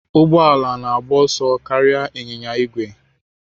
Ụgbọ ala na-agba ọsọ karịa ịnyịnya ígwè.